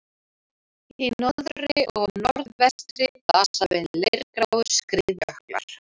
Í norðri og norðvestri blasa við leirgráir skriðjöklar.